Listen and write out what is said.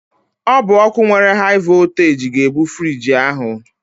Ọ bụ ọkụ nwere haị vọlteeji ga-ebu friiji ahụ.